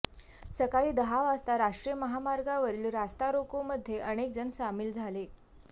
सकाळी दहा वाजता राष्ट्रीय महामार्गावरील रास्ता रोकोमध्ये अनेक जण सामील झाले